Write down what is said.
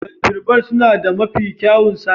"Dolphin bar" suna da mafi kyawun sabis.